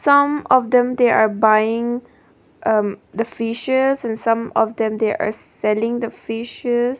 some of them they are buying um the fishes and some of them they are selling the fishes.